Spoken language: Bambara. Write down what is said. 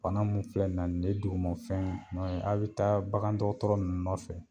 Bana mun filɛ n na n dugumafɛnw nɔ ye a be taa bagandɔgɔtɔrɔ nɔfɛ